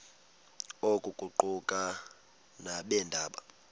oku kuquka nabeendaba